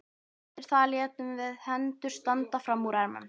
Eftir það létum við hendur standa fram úr ermum.